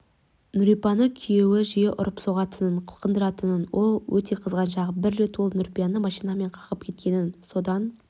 нүрипаны күйеуі жиі ұрып-соғатын қылқындыратын ол өте қызғаншақ бір рет ол нүрипаны машинамен қағып кеткен содан